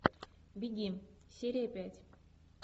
беги серия пять